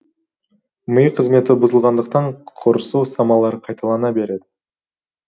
ми қызметі бұзылғандықтан құрысу ұстамалары қайталана береді